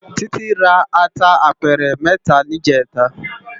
Titi rá àtá àpèrè mètá nijètá